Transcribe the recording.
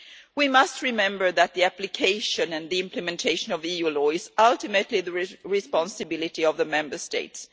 We must remember that the application and the implementation of EU law is ultimately the responsibility of the Member States.